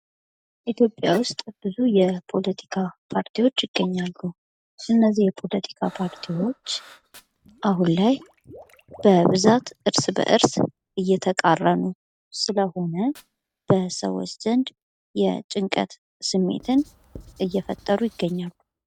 ኢትዮጵያ ውስጥ ብዙ የፖለቲካ ፓርቲዎች ይገኛሉ። እነዚህ የፖለቲካ ፓርቲዎች አሁን ላይ በብዛት እርስ በእርስ እየተቃረኑ ስለሆነ በሰዎች ዘንድ የጭንቀት ስሜትን እየፈጠሩ ይገኛሉ።